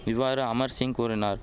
இவ்வாறு அமர் சிங் கூறினார்